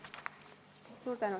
Suur tänu!